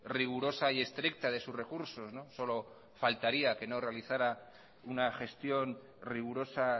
rigurosa y estricta de sus recursos solo faltaría que no realizara una gestión rigurosa